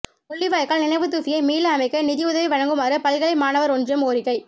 முள்ளிவாய்க்கால் நினைவுத்தூபியை மீள அமைக்க நிதி உதவி வழங்குமாறு பல்கலை மாணவர் ஒன்றியம் கோரிக்கை